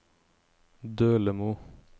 Dølemo